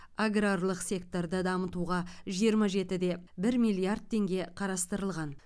аграрлық секторды дамытуға жиырма жеті де бір миллиард теңге қарастырылған